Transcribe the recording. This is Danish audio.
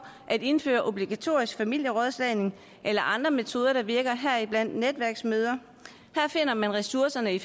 at indføre obligatorisk familierådslagning eller andre metoder der virker heriblandt netværksmøder her finder man ressourcerne i